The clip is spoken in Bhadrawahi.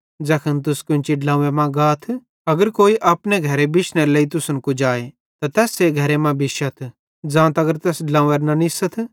ज़ैखन तुस केन्ची ड्लोव्वें मां गाथ अगर कोई अपने घरे बिश्नेरेलेइ तुसन कुजाए त तैस्से घरे मां बिश्शथ ज़ां तगर तैस ड्लोंव्वेरां न निस्सथ